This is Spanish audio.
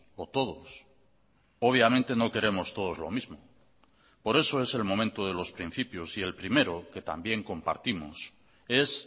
o todos obviamente no queremos todos lo mismo por eso es el momento de los principios y el primero que también compartimos es